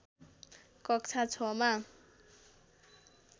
कक्षा ६मा